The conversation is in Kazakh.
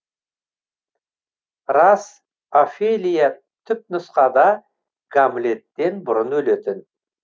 рас офелия түпнұсқада гамлеттен бұрын өлетін